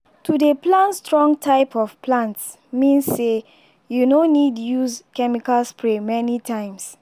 to dey plan strong type of plants mean say you no need use chemical spray many times.